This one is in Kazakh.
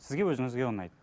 сізге өзіңізге ұнайды